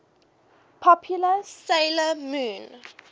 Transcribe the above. popular 'sailor moon